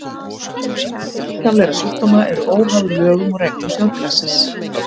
Einkenni líkamlegra sjúkdóma eru óháð lögum og reglum þjóðfélagsins.